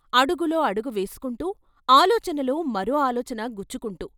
అడుగులో అడుగువేసుకుంటూ, ఆలోచనలో మరో ఆలోచన గుచ్చుకుంటూ....